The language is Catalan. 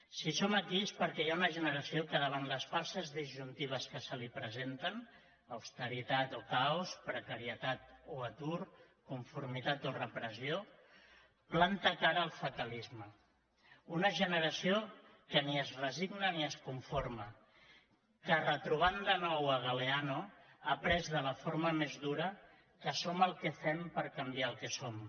si som aquí és perquè hi ha una generació que davant les falses disjuntives que se li presenten austeritat o caos precarietat o atur conformitat o repressió planta cara al fatalisme una generació que ni es resigna ni es conforma que retrobant de nou galeano ha après de la forma més dura que som el que fem per canviar el som